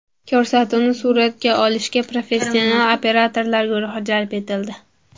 Ko‘rsatuvni suratga olishga professional operatorlar guruhi jalb etildi.